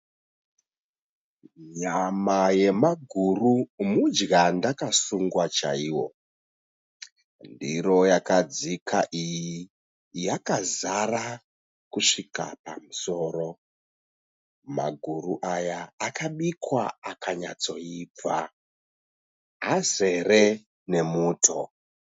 Nyama yemaguru mudya ndakasungwa chaiwo. Ndiro yakadzika iyi yakazara kusvika pamusoro. Maguru aya akabikwa akanyatsoibva , azere nemuto.